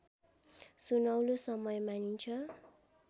सुनौलो समय मानिन्छ